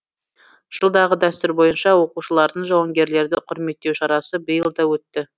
жылдағы дәстүр бойынша оқушылардың жауынгерлерді құрметтеу шарасы биыл да өтті